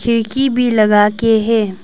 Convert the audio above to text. खिड़की भी लगा के है।